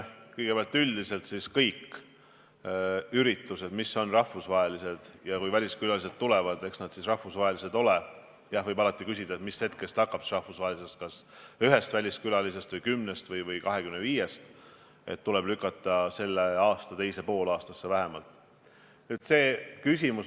Kui me räägime üldiselt, siis kõik üritused, mis on rahvusvahelised – ja kui väliskülalised tulevad, eks nad siis rahvusvahelised ole, ehkki jah, alati võib küsida, mis piirist algab rahvusvahelisus, kas ühest väliskülalisest või 10-st või 25-st –, tuleb lükata selle aasta teise poolaastasse vähemalt.